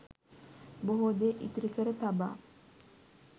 බොහෝ දේ ඉතිරි කර තබා